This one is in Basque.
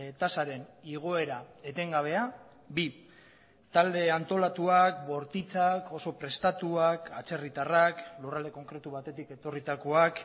tasaren igoera etengabea bi talde antolatuak bortitzak oso prestatuak atzerritarrak lurralde konkretu batetik etorritakoak